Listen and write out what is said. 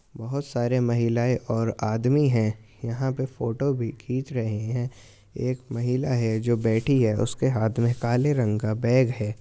बहुत सारे माहिलाऐ और आदमी हैं| यहाँ पे फोटो भी खिंच रहे है| एक महिला है जो बैठी है| उसके हाथ में काले रंग का बैग है|